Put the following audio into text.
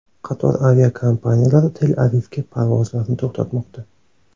Qator aviakompaniyalar Tel-Avivga parvozlarni to‘xtatmoqda.